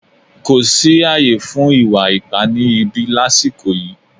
Kò sí ààyè fún ìwà ipá ni ìbí lasiko yìí